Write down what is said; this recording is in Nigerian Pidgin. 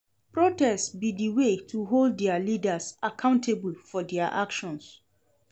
Protest be di way to hold dia leaders accountable for dia actions.